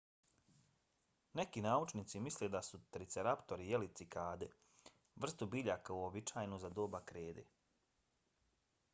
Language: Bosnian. neki naučnici misle da su triceratopi jeli cikade vrstu biljaka uobičajenu za doba krede